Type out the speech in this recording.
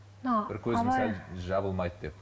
бір көзім сәл жабылмайды деп